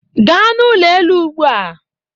Gaa n'ụlọ elu ugbu a!